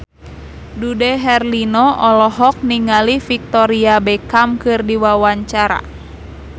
Dude Herlino olohok ningali Victoria Beckham keur diwawancara